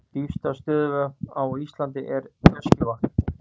Dýpsta stöðuvatn á Íslandi er Öskjuvatn.